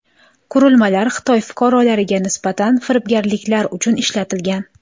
Qurilmalar Xitoy fuqarolariga nisbatan firibgarliklar uchun ishlatilgan.